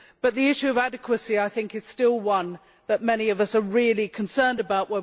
But the issue of adequacy, I think, is still one that many of us are really concerned about.